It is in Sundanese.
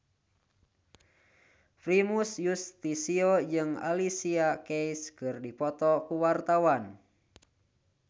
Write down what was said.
Primus Yustisio jeung Alicia Keys keur dipoto ku wartawan